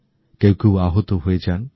কখনও আহত হয়ে যায়